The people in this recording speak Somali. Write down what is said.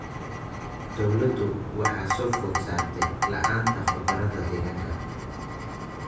Dawladdu waxa soo food saartay la�aanta khubarada deegaanka.